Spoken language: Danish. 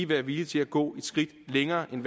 være villige til at gå et skridt længere end